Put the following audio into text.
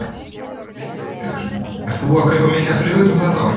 Lillý Valgerður: Ert þú að kaupa mikið af flugeldum þetta árið?